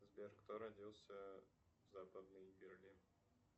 сбер кто родился в западный берлин